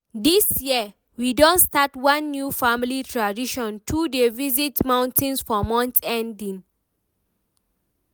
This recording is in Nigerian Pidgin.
this year, we don start one new family tradition to dey visit mountains for month ending.